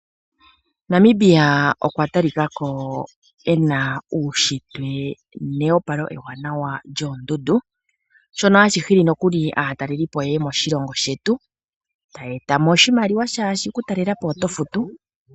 Namibia okwa talikako ena uunshitwe nehopalo ewanawa lyoondundu, shono hashi hili nookuli aataleli po ye ye moshilongo shetu taya etamo oshimaliwa shaashi, okutalela po oto futu.